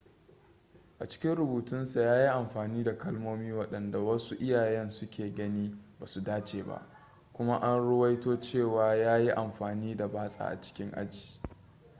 a cikin rubutunsa ya yi amfani da kalmomi waɗanda wasu iyayen suke ganin ba su dace ba kuma an ruwaito cewa ya yi amfani da batsa a cikin aji